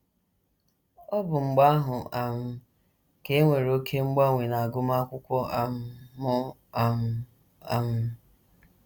Ọ bụ mgbe ahụ um ka e nwere oké mgbanwe n’agụmakwụkwọ um m um um.